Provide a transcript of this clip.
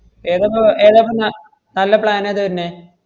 ഏതാപ്പ~ എതാപ്പ ന~ നല്ല plan നേതാ വന്നേ?